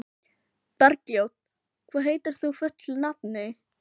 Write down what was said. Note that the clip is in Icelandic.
Bergljót, hvað heitir þú fullu nafni?